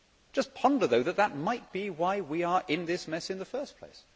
Just ponder, though, that that might be why we are in this mess in the first place.